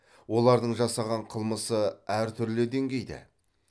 олардың жасаған қылмысы әртүрлі дейгейде